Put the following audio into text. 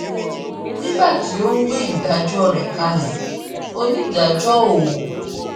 nígbà tó ń gbé ìdájọ rẹ kalẹ onídàájọ o